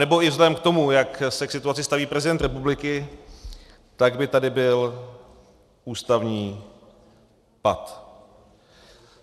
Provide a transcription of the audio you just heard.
Anebo i vzhledem k tomu, jak se k situaci staví prezident republiky, tak by tady byl ústavní pat.